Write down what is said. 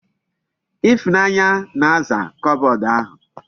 Ifunanya na-aza kobod ahu